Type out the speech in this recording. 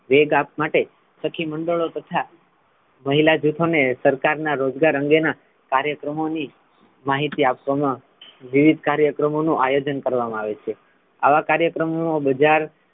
વેગ આપવા માટે સખી મંડળો તથા મહિલા જૂથ અને સરકાર ના રોજગાર અંગે ના કાર્યક્રમો ની માહિતી આપવામા વિવિધ કાર્યક્રમો નુ આયોજન કરવામા આવે છે આવા કાર્યક્રમોનુ બજાર,